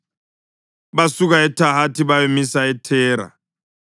Basuka eThahathi bayamisa eThera.